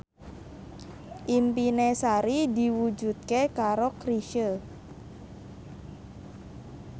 impine Sari diwujudke karo Chrisye